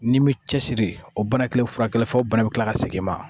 N'i m'i cɛsiri o bana kelen fura kelen fɔ o bana bɛ tila ka segin i ma